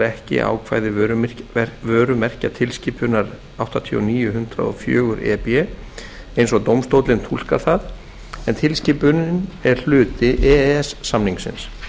ekki ákvæði vörumerkjatilskipunar áttatíu og níu hundrað og fjögur e b eins og dómstóllinn túlkar það en tilskipunin er hluti e e s samningsins